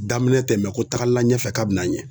Daminɛ tɛ mɛ ko taga la ɲɛfɛ kabin'a ɲɛ.